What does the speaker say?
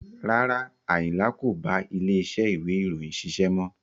Rárá, Ayinla kò bá ilé iṣẹ́ ìwé ìròyìn ṣiṣẹ́ mọ́.